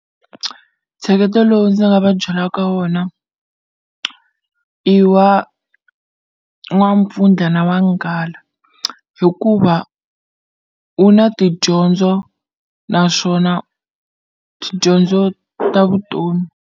Ntsheketo lowu ndzi nga va byelaka ka wona i wa n'wampfundla na n'wanghala hikuva wu na tidyondzo naswona tidyondzo ta vutomi.